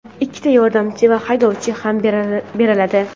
ikkita yordamchi va haydovchi ham beriladi.